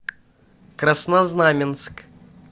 краснознаменск